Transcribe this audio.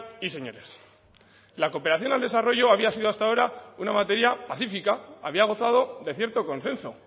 y señores la cooperación al desarrollo había sido hasta ahora una materia pacífica había gozado de cierto consenso